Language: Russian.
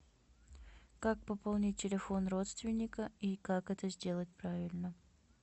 как пополнить телефон родственника и как это сделать правильно